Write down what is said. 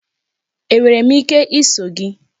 Enwere m ike iso gị?